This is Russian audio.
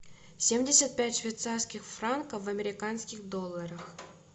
семьдесят пять швейцарских франков в американских долларах